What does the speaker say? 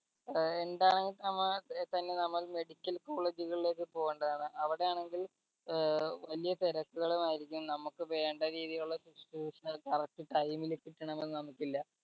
ഏർ എന്താണെങ്കിലും നമ്മൾ തന്നെ നമ്മൾ medical college കളിലേക്ക് പോകേണ്ടതാണ് അവിടെ ആണെങ്കിൽ ഏർ വലിയ തിരക്കുകളും ആയിരിക്കും നമ്മക്ക് വേണ്ട രീതിയിലുള്ള correct ല് കിട്ടണമെന്ന് നമ്മക്കില്ല